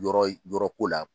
Yɔrɔ yɔrɔko la